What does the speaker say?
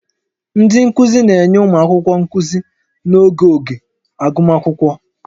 Ndị nkuzi na-enye ụmụ akwụkwọ nkuzi n'oge oge agụmakwụkwọ